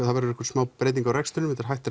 það verður smá breyting á rekstrinum þetta er hætt